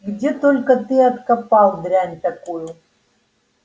где только ты откопал дрянь такую